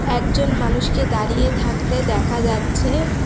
একজন মানুষকে দাঁড়িয়ে থাকতে দেখা যাচ্ছে।